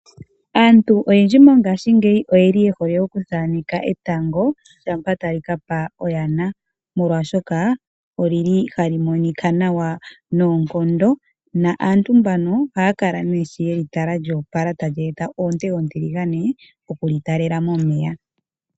Aantu oyendji mongaasjingeyi oye li yehole oku thaneka etango, tango shampoo ta li kaka oyaba, molwashoka oli li ha li Monika nawa noonkondo. Aantu mbano oha ya kala neah yeli tala lyoopala ta li eta oonte ontiligane oku li talela momeya.